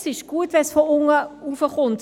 Es ist gut, wenn es von unten kommt.